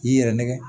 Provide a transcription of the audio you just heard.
K'i yɛrɛ nɛgɛ